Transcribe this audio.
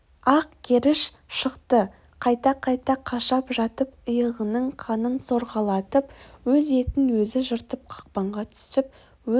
ақ керіш шықты қайта-қайта қашап жатып иығының қанын сорғалатып өз етін өзі жыртып қақпанға түсіп өз